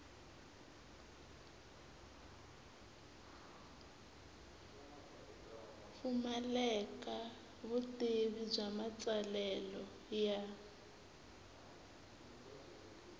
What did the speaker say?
pfumaleka vutivi bya matsalelo ya